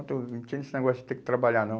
Não tinha esse negócio de ter que trabalhar, não.